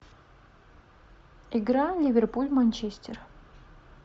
игра ливерпуль манчестер